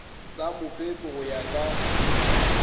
sa mofepi go ya ka